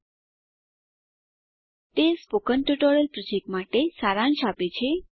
httpspoken tutorialorgWhat is એ spoken tutorial તે spoken tutorial project માટે સારાંશ આપે છે